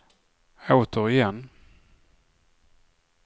återigen